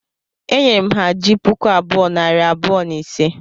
E nyere m ha ji puku bụọ,, nari bụọ, na ise